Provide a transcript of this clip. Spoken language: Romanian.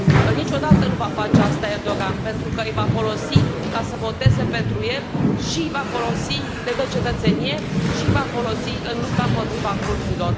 Niciodată nu va face asta Erdogan, pentru că îi va folosi ca să voteze pentru el, le dă cetățenie și i va folosi în lupta împotriva kurzilor.